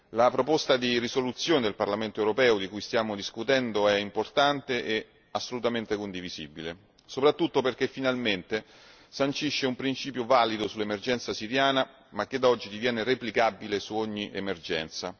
La proposta di risoluzione del Parlamento europeo di cui stiamo discutendo è importante e assolutamente condivisibile, soprattutto perché finalmente sancisce un principio valido sull'emergenza siriana, ma che da oggi diviene replicabile su ogni emergenza.